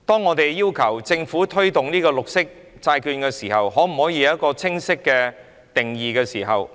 我們要求政府在推動綠色債券時，要有一個清晰的定義。